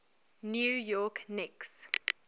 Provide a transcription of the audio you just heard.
new york knicks